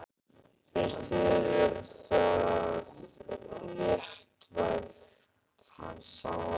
Finnst þér það léttvægt?